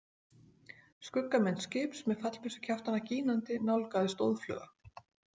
Skuggamynd skips með fallbyssukjaftana gínandi nálgaðist óðfluga.